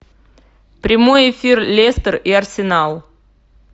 прямой эфир лестер и арсенал